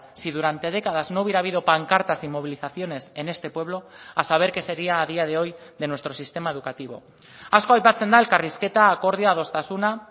si durante décadas no hubiera habido pancartas y movilizaciones en este pueblo a saber qué sería a día de hoy de nuestro sistema educativo asko aipatzen da elkarrizketa akordioa adostasuna